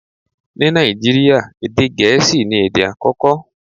Ní Nàìjíríà, èdè gẹ̀ẹ́sì ni èdè àkọ́kọ́.